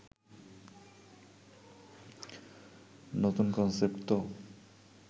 নতুন কনসেপ্ট তো